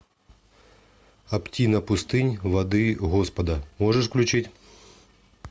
оптина пустынь воды господа можешь включить